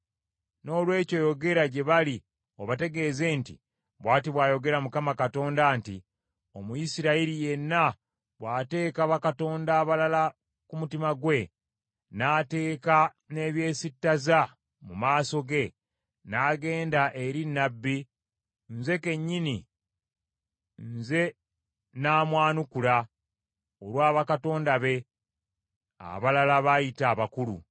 Noolwekyo yogera gye bali obategeeze nti, ‘Bw’ati bw’ayogera Mukama Katonda nti, Omuyisirayiri yenna bw’ateeka bakatonda abalala ku mutima gwe, n’ateeka n’ebyesittaza mu maaso ge, n’agenda eri nnabbi, nze kennyini, nze nnaamwanukulanga olwa bakatonda be abalala baayita abakulu.